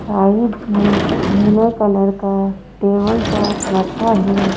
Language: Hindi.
साइड में नीले कलर का टेबल टॉप रखा है।